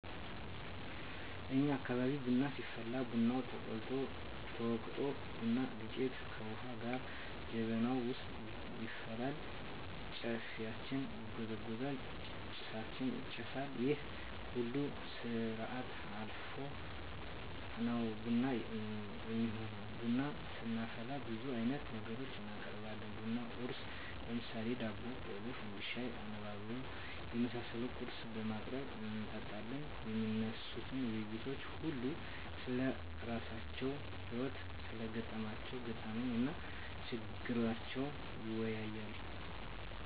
እኛ አካባቢ ቡና ሲፈላ ቡናው ተቆልቶ፣ ተወቅጦ፣ ቡና ዱቄቱ ከዉሀ ጋ ጀበናዉ ዉስጥ ይፈላል፣ ጨፌያችን ይጎዘጎዛል፣ ጭሳችን ይጨሳል ይሄን ሁሉ ስርአት አልፋ ነዉ ቡና እሚሆነዉ። ቡና ስናፈላ ብዙ አይነት ነገሮችን እናቀርባለን(ቡና ቁርስ ) ለምሳሌ፦ ዳቦ፣ ቆሎ፣ ፈንድሻ፣ አነባበሮ የመሳሰሉ ቁርሶችን በማቅረብ እንጠጣለን። የሚነሱት ዉይይቶች ሁሉም ስለራሳቸዉ ህይወት(ስለገጠማቸዉ ገጠመኝ) እና ችግራቸዉን ይወያያል፣